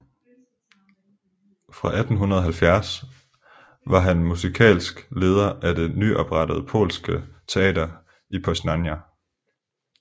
Fra 1870 var han musikalsk leder af det nyoprettede polske teater i Poznań